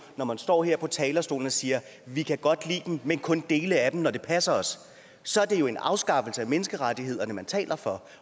man står her på talerstolen og siger vi kan godt lide dem men kun dele af dem når det passer os så er det jo en afskaffelse af menneskerettighederne man taler for